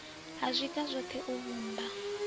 ha zwiga zwoṱhe u vhumba